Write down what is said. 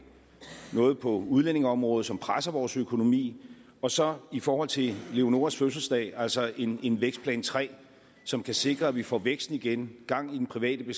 noget på udlændingeområdet som presser vores økonomi og så i forhold til leonoras fødselsdag altså en en vækstplan tre som kan sikre at vi får vækst igen gang i den private